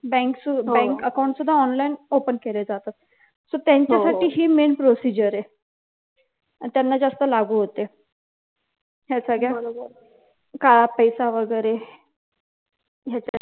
bank च bank account सुद्धा online open केलं जात तर त्यांच्यासाठी हि main procedure आहे आणि त्यांना जास्त लागू होते ह्या सगळ्या काळा पैसा वगैरे त्याच्या